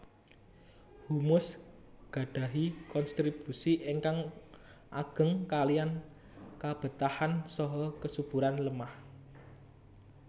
Humus gadahi konstribusi ingkang ageng kaliyan kabetahan saha kesuburan lemah